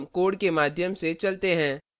अब हम code के माध्यम से चलते हैं